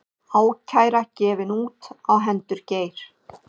Ákæra gefin út á hendur Geir